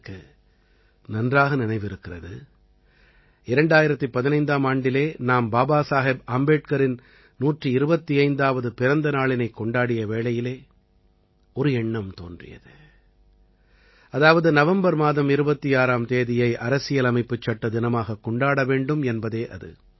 எனக்கு நன்றாக நினைவிருக்கிறது 2015ஆம் ஆண்டிலே நாம் பாபாசாகேப் ஆம்பேட்கரின் 125ஆவது பிறந்த நாளினைக் கொண்டாடிய வேளையிலே ஒரு எண்ணம் தோன்றியது அதாவது நவம்பர் மாதம் 26ஆம் தேதியை அரசியலமைப்புச் சட்ட தினமாகக் கொண்டாட வேண்டும் என்பதே அது